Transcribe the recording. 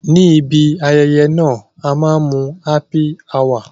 Ní ibi ayẹyẹ náà, a máa mu Happy hour